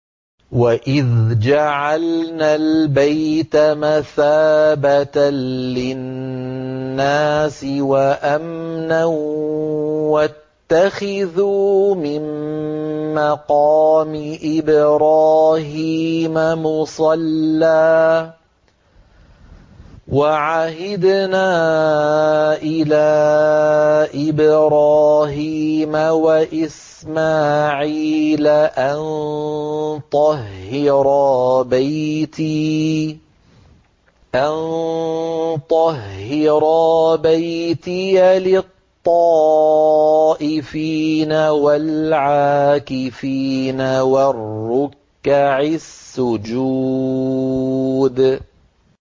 وَإِذْ جَعَلْنَا الْبَيْتَ مَثَابَةً لِّلنَّاسِ وَأَمْنًا وَاتَّخِذُوا مِن مَّقَامِ إِبْرَاهِيمَ مُصَلًّى ۖ وَعَهِدْنَا إِلَىٰ إِبْرَاهِيمَ وَإِسْمَاعِيلَ أَن طَهِّرَا بَيْتِيَ لِلطَّائِفِينَ وَالْعَاكِفِينَ وَالرُّكَّعِ السُّجُودِ